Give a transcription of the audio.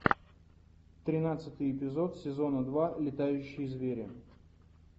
тринадцатый эпизод сезона два летающие звери